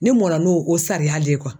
Ne mɔnna no o sariya le ye